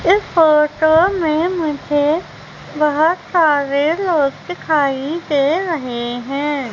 इस फोटो में मुझे बहुत सारे लोग दिखाई दे रहे हैं।